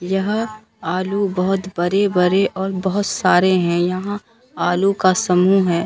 यहआलू बहोत बरे बरे और बहुत सारे हैं यहां आलू का समूह है।